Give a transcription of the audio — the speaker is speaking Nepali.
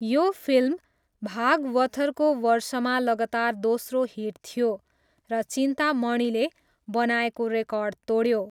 यो फिल्म भागवथरको वर्षमा लगातार दोस्रो हिट थियो र चिन्तामणिले बनाएको रेकर्ड तोड्यो।